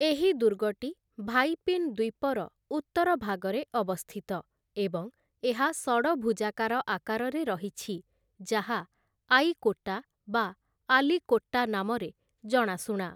ଏହି ଦୁର୍ଗଟି ଭାଇପିନ୍ ଦ୍ୱୀପର ଉତ୍ତର ଭାଗରେ ଅବସ୍ଥିତ, ଏବଂ ଏହା ଷଡ଼ଭୁଜାକାର ଆକାରରେ ରହିଛି, ଯାହା ଆୟିକୋଟା ବା ଆଲିକୋଟ୍ଟା ନାମରେ ଜଣାଶୁଣା ।